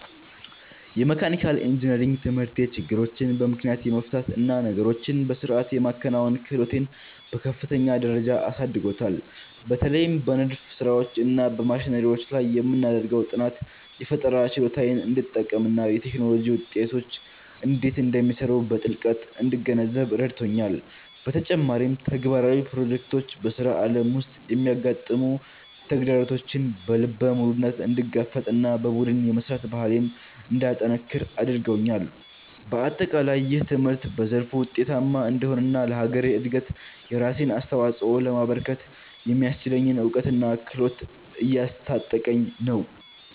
የመካኒካል ኢንጂነሪንግ ትምህርቴ ችግሮችን በምክንያት የመፍታት እና ነገሮችን በሥርዓት የማከናወን ክህሎቴን በከፍተኛ ደረጃ አሳድጎታል። በተለይም በንድፍ ሥራዎች እና በማሽነሪዎች ላይ የምናደርገው ጥናት፣ የፈጠራ ችሎታዬን እንድጠቀምና የቴክኖሎጂ ውጤቶች እንዴት እንደሚሰሩ በጥልቀት እንድገነዘብ ረድቶኛል። በተጨማሪም፣ ተግባራዊ ፕሮጀክቶች በሥራ ዓለም ውስጥ የሚያጋጥሙ ተግዳሮቶችን በልበ ሙሉነት እንድጋፈጥና በቡድን የመሥራት ባህሌን እንዳጠነክር አድርገውኛል። በአጠቃላይ፣ ይህ ትምህርት በዘርፉ ውጤታማ እንድሆንና ለሀገሬ እድገት የራሴን አስተዋፅኦ ለማበርከት የሚያስችለኝን እውቀትና ክህሎት እያስታጠቀኝ ነው።